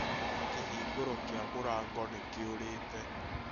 kĩhingũro kĩa mũrango nĩ kĩũrĩte